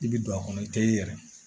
I bi don a kɔnɔ i te yɛrɛ